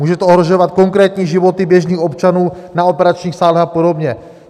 Může to ohrožovat konkrétní životy běžných občanů na operačních sálech a podobně.